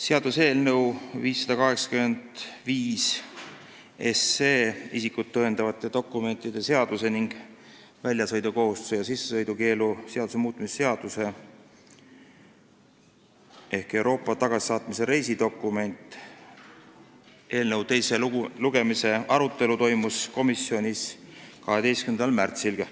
Seaduseelnõu 585, isikut tõendavate dokumentide seaduse ning väljasõidukohustuse ja sissesõidukeelu seaduse muutmise seaduse eelnõu teise lugemise arutelu toimus komisjonis 12. märtsil.